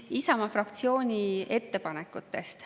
Isamaa fraktsiooni ettepanekutest.